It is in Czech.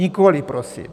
Nikoliv prosím.